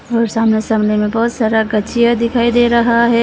और सामने सामने में बहोत सारा गछिया दिखाई दे रहा है।